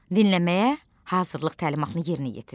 Dinləməyə hazırlıq təlimatını yerinə yetir.